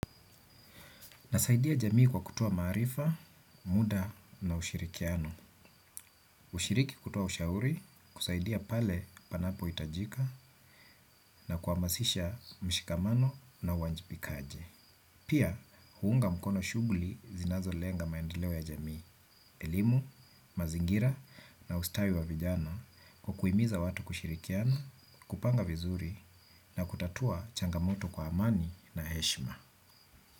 Na saidia jamii kwa kutoa maarifa, muda na ushirikiano. Hushiriki kutoa ushauri, kusaidia pale panapo itajika na kuhamasisha mshikamano na uwajibikaji. Pia, huunga mkono shughuli zinazo lenga maendeleo ya jamii, elimu, mazingira na ustawi wa vijana kwa kuhimiza watu kushirikiana, kupanga vizuri na kutatua changamoto kwa amani na heshma.